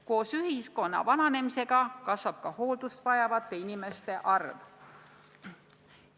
Koos ühiskonna vananemisega kasvab ka hooldust vajavate inimeste arv.